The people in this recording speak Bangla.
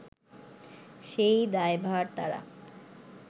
সেই দায়ভার তারা